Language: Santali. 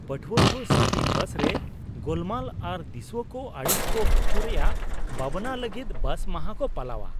ᱯᱟᱴᱷᱩᱣᱟ ᱠᱚ ᱥᱤᱴᱤ ᱵᱟᱥ ᱨᱮ ᱜᱳᱞᱢᱟᱞ ᱟᱨ ᱫᱤᱥᱩᱣᱟᱹ ᱠᱚ ᱟᱹᱲᱤᱥ ᱠᱚ ᱦᱚᱪᱚ ᱨᱮᱭᱟᱜ ᱵᱟᱵᱟᱱᱟ ᱞᱟᱹᱜᱤᱫ ᱵᱟᱥ ᱢᱟᱦᱟ ᱠᱚ ᱯᱟᱞᱟᱣᱟ ᱾